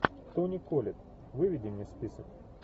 тони коллетт выведи мне список